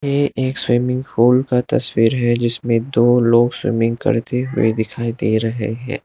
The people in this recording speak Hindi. ये एक स्विमिंग फॉल का तस्वीर है जिसमें दो लोग स्विमिंग करते हुए दिखाई दे रहे है।